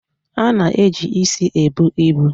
A na eji isi ebu ibu